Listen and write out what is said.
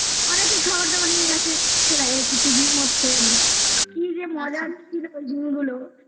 অনেকেই খাবার দাবার নিয়ে গেছে চলে আয় একটু picnic মত করে নি কি যে মজা হচ্ছিল ওই দিনগুলো